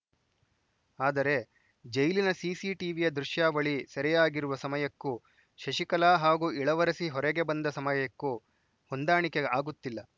ಆದರೆ ಜೈಲಿನ ಸಿಸಿಟಿವಿಯ ದೃಶ್ಯಾವಳಿ ಸೆರೆಯಾಗಿರುವ ಸಮಯಕ್ಕೂ ಶಶಿಕಲಾ ಹಾಗೂ ಇಳವರಸಿ ಹೊರಗೆ ಬಂದ ಸಮಯಕ್ಕೂ ಹೊಂದಾಣಿಕೆ ಆಗುತ್ತಿಲ್ಲ